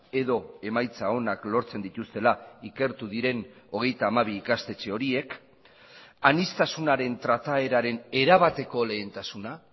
edo emaitza onak lortzen dituztela ikertu diren hogeita hamabi ikastetxe horiek aniztasunaren trataeraren erabateko lehentasuna